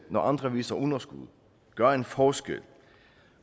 når andre viser underskud gør en forskel